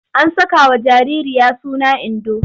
An sakawa jaririya suna Indo.